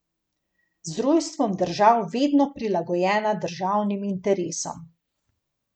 Z rojstvom držav vedno prilagojena državnim interesom.